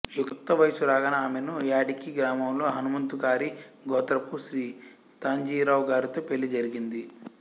యుక్త వయస్సు రాగానే ఆమెను యాడికి గ్రామంలో హనుమంతకారి గోత్రపు శ్రీ తాంజీరావు గారితో పెళ్ళి జరిగింది